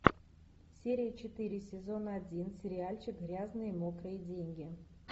серия четыре сезон один сериальчик грязные мокрые деньги